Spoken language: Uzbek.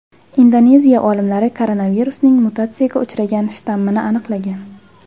Indoneziya olimlari koronavirusning mutatsiyaga uchragan shtammini aniqlagan .